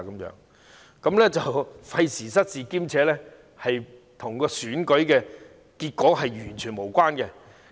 這做法費時失事，亦與選舉結果完全無關。